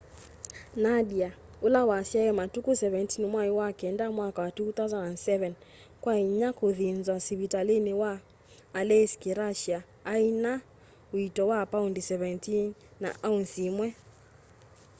nadia ula wasyaiwe matuku 17 mwai wa kenda mwaka wa 2007 kwa inya kuthinzwa sivitalini wi aleisk russia aina uito wa pound 17 na ounce imwe